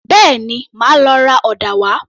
Bẹ́ẹ̀ni, màá lọ ra ọ̀dà wá